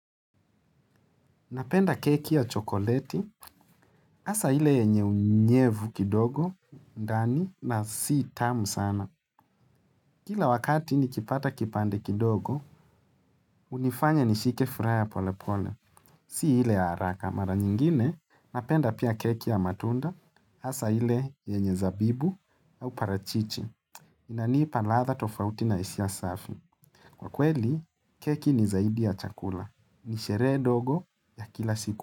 Napenda keki ya chokoleti, asa hile yenye unyevu kidogo, ndani, na si tamu sana. Kila wakati nikipata kipande kidogo, unifanya nishike furaha pole pole. Si ile ya haraka, mara nyingine, napenda pia keki ya matunda, asa ile yenye zabibu au parachichi. Inaniipa latha tofauti na isia safi. Kwa kweli, keki ni zaidi ya chakula. Nisherehe dogo ya kila siku.